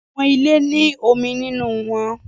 Awọn ile ni omi ninu wọn